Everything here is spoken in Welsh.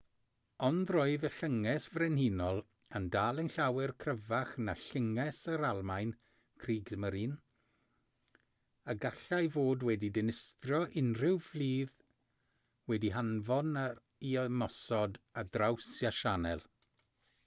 ond roedd y llynges frenhinol yn dal yn llawer cryfach na llynges yr almaen kriegsmarine a gallai fod wedi dinistrio unrhyw fflyd wedi'i hanfon i ymosod ar draws y sianel